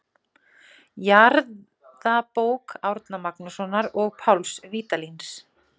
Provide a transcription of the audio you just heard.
Jarðabók Árna Magnússonar og Páls Vídalíns.